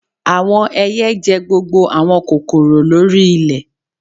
Awọn ẹiyẹ jẹ gbogbo awọn kokoro lori ilẹ